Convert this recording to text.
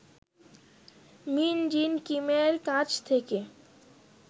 মিন Jin কিমের কাছ থেকে